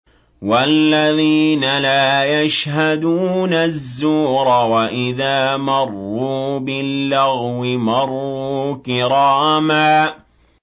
وَالَّذِينَ لَا يَشْهَدُونَ الزُّورَ وَإِذَا مَرُّوا بِاللَّغْوِ مَرُّوا كِرَامًا